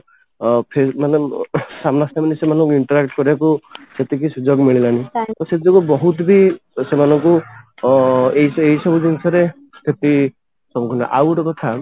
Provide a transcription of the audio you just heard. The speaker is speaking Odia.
ଅ ମାନେ ସାମ୍ନା ସାମନି ସେମାନଙ୍କୁ interact କରିବାକୁ ସେତିକି ସୁଯୋଗ ମିଳିଲାନି ତ ସେ ଯୋଗୁ ବହୁତ ବି ସେମାନଙ୍କୁ ଅ ଏଇ ଏଇ ସବୁ ଜିନିଷ ରେ ଆଉ ଗୋଟେ କଥା